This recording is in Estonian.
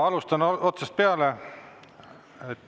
Alustan otsast peale.